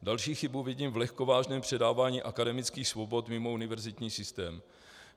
Další chybu vidím v lehkovážném předávání akademických svobod mimo univerzitní systém.